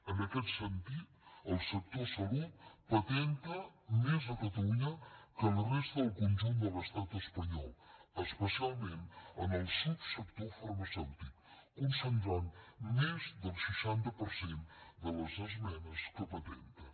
en aquest sentit el sector salut patenta més a catalunya que la resta del conjunt de l’estat espanyol especialment en el subsector farmacèutic concentrant més del seixanta per cent de les empreses que patenten